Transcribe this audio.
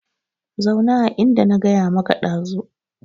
Zauna a inda na gaya maka dazu